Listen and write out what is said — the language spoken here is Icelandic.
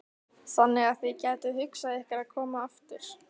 Þannig að þið gætuð hugsað ykkur að koma aftur?